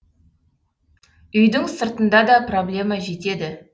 үйдің сыртында да проблема жетеді